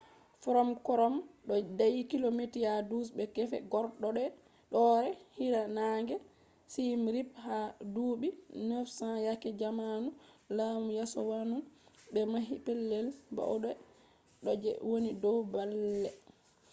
fnom krom ɗo dayi kilomita 12 be gefe horɗoore hiirnaange siyem rip. ha duuɓi 900 yake zamanu laamu yasowaman ɓe mahi pellel bauɗe ɗo je woni dow baalle